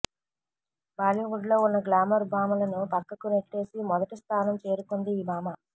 బాలీవుడ్ లో ఉన్న గ్లామర్ భామలను పక్కకు నెట్టేసి మొదటి స్తానం చేరుకుంది ఈ భామ